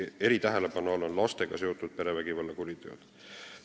Eritähelepanu all on lastega seotud perevägivallakuriteod.